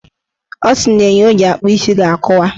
Ọ sịrị na enyo o ji akpụ isi ga-akụwa.